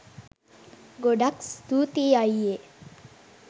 ගොඩක් ස්තූතියි අයියේ